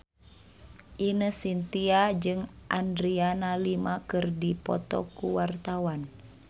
Ine Shintya jeung Adriana Lima keur dipoto ku wartawan